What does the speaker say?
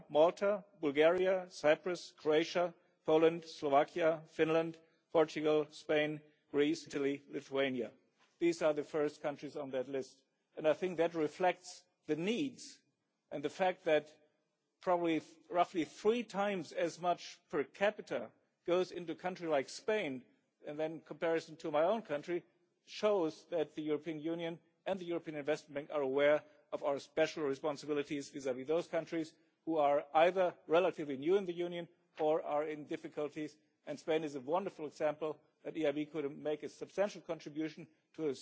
1 Malta, Bulgaria, Cyprus, Croatia, Poland, Slovakia, Finland, Portugal, Spain, Greece, Italy, Lithuania these are the first countries on that list and I think that reflects the needs and the fact that probably roughly three times as much per capita goes into a country like Spain, and that in comparison to my own country shows that the European Union and the European Investment Bank are aware of our special responsibilities vis vis those countries which are either relatively new in the Union or are in difficulties, and Spain is a wonderful example where the EIB could make a substantial contribution